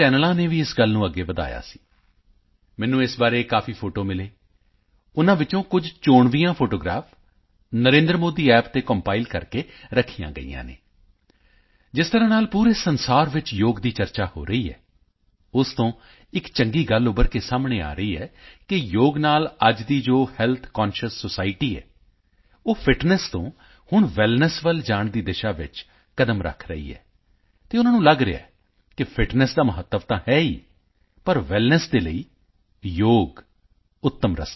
ਚੈਨਲਾਂ ਨੇ ਵੀ ਇਸ ਗੱਲ ਨੂੰ ਅੱਗੇ ਵਧਾਇਆ ਸੀ ਮੈਨੂੰ ਇਸ ਬਾਰੇ ਕਾਫੀ ਫੋਟੋਆਂ ਮਿਲੀਆਂ ਉਨ੍ਹਾਂ ਵਿੱਚੋਂ ਕੁਝ ਚੋਣਵੀਆਂ ਫੋਟੋਆਂ ਸਿਲੈਕਟਿਡ ਫੋਟੋਗ੍ਰਾਫ਼ਸ NarendraModiApp ਤੇ ਕੰਪਾਈਲ ਕਰਕੇ ਰੱਖੀਆਂ ਗਈਆਂ ਹਨ ਜਿਸ ਤਰ੍ਹਾਂ ਨਾਲ ਪੂਰੇ ਸੰਸਾਰ ਵਿੱਚ ਯੋਗ ਦੀ ਚਰਚਾ ਹੋ ਰਹੀ ਹੈ ਉਸ ਤੋਂ ਇੱਕ ਚੰਗੀ ਗੱਲ ਉੱਭਰ ਕੇ ਸਾਹਮਣੇ ਆ ਰਹੀ ਹੈ ਕਿ ਯੋਗ ਨਾਲ ਅੱਜ ਦੀ ਜੋ ਹੈਲਥ ਕੰਸ਼ੀਅਸ ਸੋਸਾਇਟੀ ਹੈ ਉਹ ਫਿਟਨੈੱਸ ਤੋਂ ਹੁਣ ਵੈਲਨੈੱਸ ਵੱਲ ਜਾਣ ਦੀ ਦਿਸ਼ਾ ਵਿੱਚ ਕਦਮ ਰੱਖ ਰਹੀ ਹੈ ਅਤੇ ਉਨ੍ਹਾਂ ਨੂੰ ਲਗ ਰਿਹਾ ਹੈ ਕਿ ਫਿਟਨੈੱਸ ਦਾ ਮਹੱਤਵ ਤਾਂ ਹੈ ਹੀ ਪਰ ਵੈਲਨੈੱਸ ਦੇ ਲਈ ਯੋਗ ਉੱਤਮ ਰਸਤਾ ਹੈ